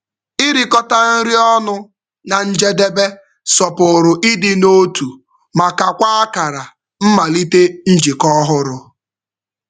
Irikọta nri ọnụ na njedebe sọpụrụ ịdị n'otu ma kakwaa akara mmalite njikọ ọhụrụ.